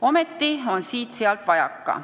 Ometi on siit-sealt vajaka.